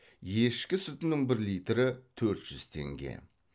ешкі сүтінің бір литрі төрт жүз теңге